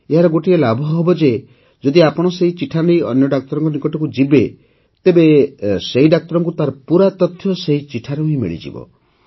ଏହାର ଗୋଟିଏ ଲାଭ ହେବ ଯେ ଯଦି ଆପଣ ସେହି ଚିଠା ନେଇ ଅନ୍ୟ ଡାକ୍ତରଙ୍କ ନିକଟକୁ ଯିବେ ତେବେ ସେହି ଡାକ୍ତରଙ୍କୁ ତାର ପୂରା ତଥ୍ୟ ସେହି ଚିଠାରୁ ହିଁ ମିଳିଯିବ